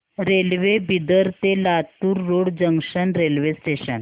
railway Bidar ते Latur road junction railway station